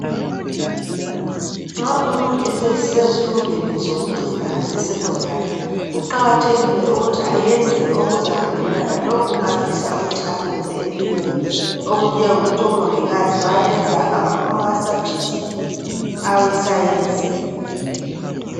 Nxa umuntu esesezifundweni zokucina zeSecondary kuqakathekile ukuthi ayenze okuzahambelana lalokhu afusa ukuthi akwenze okunjengokuthi oMongikazi bayayenza ama subjects eScience.